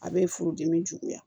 A bɛ furudimi juguya